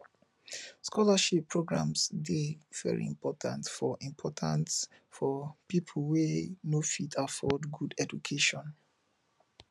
scholarship programmes de very important for important for pipo wey no fit afford good education